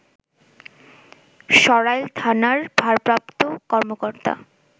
সরাইল থানার ভারপ্রাপ্ত কর্মকর্তা